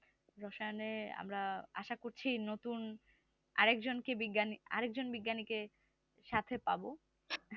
রসায়নে আমরা আসা করছি নতুন আরেকজনকে বিজ্ঞানী আরেকজন বিজ্ঞানীকে সাথে পাবো